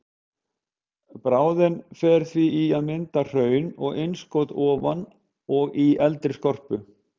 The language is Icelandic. Bráðin fer því í að mynda hraun og innskot ofan á og í eldri skorpu.